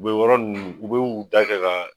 U be yɔrɔ nunnu, u be u da kɛ ka